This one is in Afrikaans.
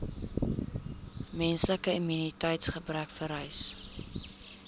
menslike immuniteitsgebrekvirus